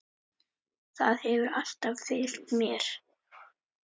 Það hefur alltaf fylgt mér.